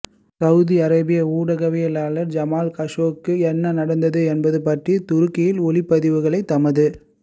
Saudi Arabia ஊடகவியலாளர் Jamal கஷோகிக்கு என்ன நடந்தது என்பது பற்றிய துருக்கியின் ஒலிப் பதிவுகளை தமது